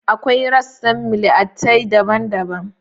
Akwai rassan miliatay daban-daban